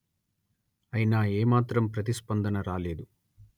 అయినా ఏ మాత్రం ప్రతిస్పందన రాలేదు